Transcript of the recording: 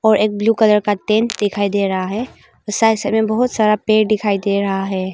और एक blue colour का दिखाई दे रहा है और साइड साइड में बहुत सारा पेड़ दिखाई दे रहा है।